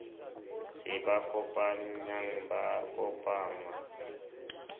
se ba kopanyang ba kopangwa